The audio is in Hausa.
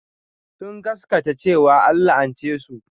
Sun gaskata cewa an la'ance su.